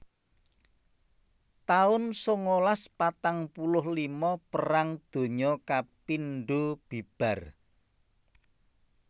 taun sangalas patang puluh lima Perang Donya kapindho bibar